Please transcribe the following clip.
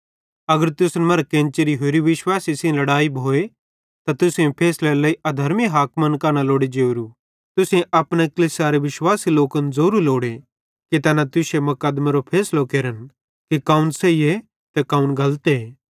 अगर तुसन मरां केन्चरी होरि विश्वासी सेइं लड़ाई भोए त तुसेईं फैसलेरे लेइ अधर्मी हाकिमन कां न लोड़े ज़ोवरू तुसेईं अपने कलीसियारे विश्वासी लोकन ज़ोवरू लोड़े कि तैना तुश्शे मुकदमेरो फैसलो केरन कि कौन सही ते कौन गलते